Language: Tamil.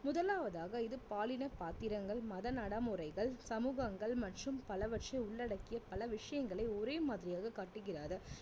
முதலாவதாக இது பாலின பாத்திரங்கள் மத நடை முறைகள் சமூகங்கள் மற்றும் பலவற்றை உள்ளடக்கிய பல விஷயங்களை ஒரே மாதிரியாக காட்டுகிறது